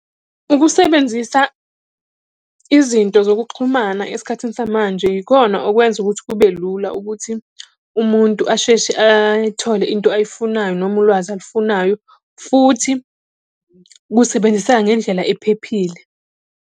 Ukusebenzisa izinto zokuxhumana esikhathini samanje ikhona, okwenza ukuthi kube lula ukuthi umuntu asheshe ay'thole into ayifunayo noma ulwazi alufunayo, futhi kusebenziseka ngendlela ephephile.